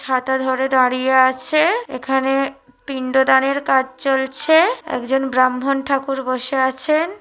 ছাতা ধরে দাঁড়িয়ে আছে। এখানে পিন্ড দানের কাজ চলছে । একজন ব্রাহ্মণ ঠাকুর বসে আছেন ।